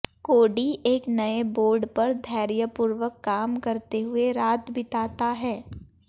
कोड़ी एक नए बोर्ड पर धैर्यपूर्वक काम करते हुए रात बिताता है